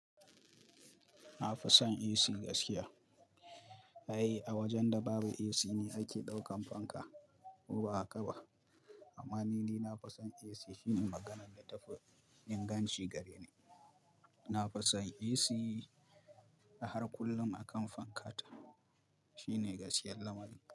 Na fi son AC gaskiya. Ai, a wajen da babu AC ne nake ɗaukan fanka ko ba a ƙaba. Amma ni, ni na fi son AC. Shine maganan da tafi inganci gareni. Na fi son AC har kullum a kan fanka. Shine gaskiyar lamarin.